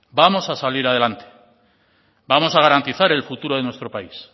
vamos a salir adelante vamos a garantizar el futuro de nuestro país